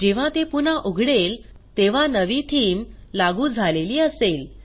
जेव्हा ते पुन्हा उघडेल तेव्हा नवी थीम लागू झालेली असेल